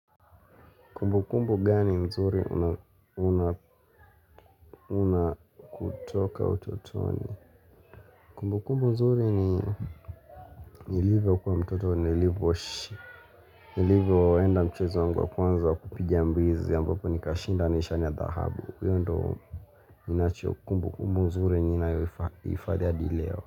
Kumbukumbu gani mzuri una una kutoka utotoni. Kumbu kumbu mzuri ni nilivyo kuwa mtoto ni nilivyo nilivyo enda mchezo wangu wakwanza wa kupigia mbizi ambapo nikashinda nishani ya dhahabu hiyo ndio ninacho kumbukumbu mzuri ninayo ifadhi hadi leo.